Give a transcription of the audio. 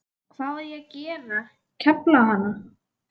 Hvað á ég að gera, kefla hana?